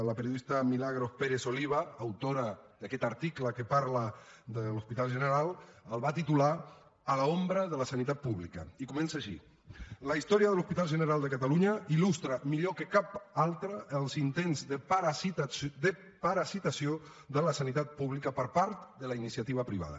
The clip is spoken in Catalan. la periodista milagros pérez oliva autora d’aquest article que parla de l’hospital general el va titular a l’ombra de la sanitat pública i comença així la història de l’hospital general de catalunya il·lustra millor que cap altra els intents de parasitació de la sanitat pública per part de la iniciativa privada